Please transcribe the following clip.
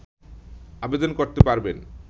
আবেদন করতে পারবেন